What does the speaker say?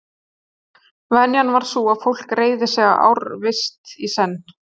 Venjan var sú að fólk réði sig í ársvist í senn.